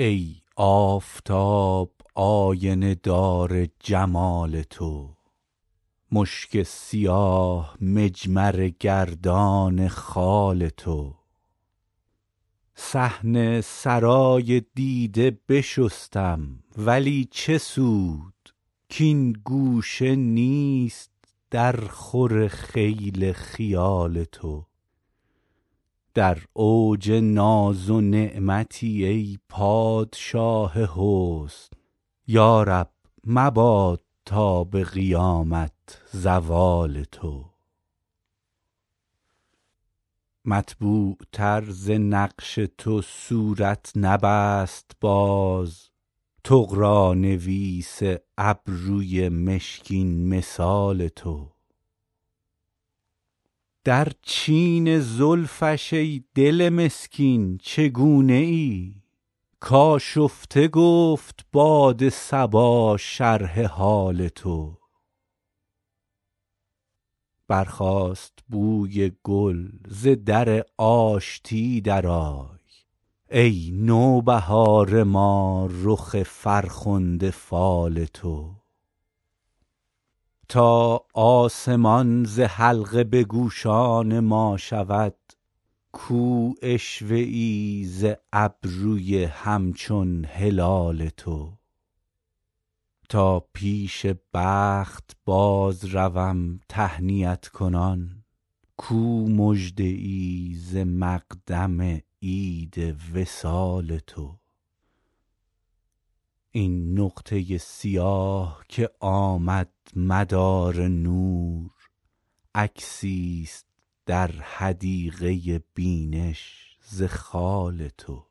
ای آفتاب آینه دار جمال تو مشک سیاه مجمره گردان خال تو صحن سرای دیده بشستم ولی چه سود کـ این گوشه نیست درخور خیل خیال تو در اوج ناز و نعمتی ای پادشاه حسن یا رب مباد تا به قیامت زوال تو مطبوعتر ز نقش تو صورت نبست باز طغرانویس ابروی مشکین مثال تو در چین زلفش ای دل مسکین چگونه ای کآشفته گفت باد صبا شرح حال تو برخاست بوی گل ز در آشتی درآی ای نوبهار ما رخ فرخنده فال تو تا آسمان ز حلقه به گوشان ما شود کو عشوه ای ز ابروی همچون هلال تو تا پیش بخت بازروم تهنیت کنان کو مژده ای ز مقدم عید وصال تو این نقطه سیاه که آمد مدار نور عکسیست در حدیقه بینش ز خال تو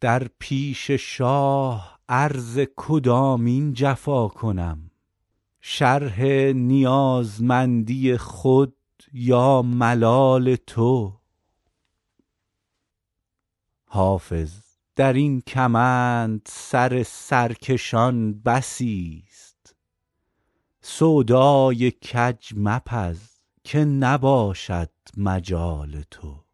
در پیش شاه عرض کدامین جفا کنم شرح نیازمندی خود یا ملال تو حافظ در این کمند سر سرکشان بسیست سودای کج مپز که نباشد مجال تو